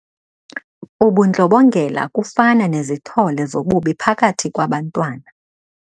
Ubundlobongela kufana nezithole zobubi phakathi kwabantwana.